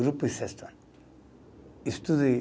Grupo e sexto ano.